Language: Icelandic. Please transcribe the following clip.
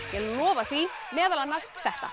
ég lofa því meðal annars þetta